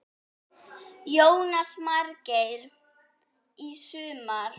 Jónas Margeir: Í sumar?